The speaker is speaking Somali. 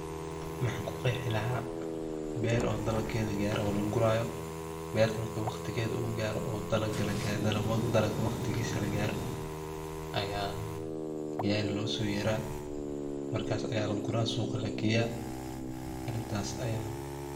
Maxa ku qexi laha beer oo dhalageeda gaare o la guurayo, berta marku waqtikeda gaaro dhalag waqtigisa la garo gari lo so yeera markas aya laguura suqa lageya arintas aya.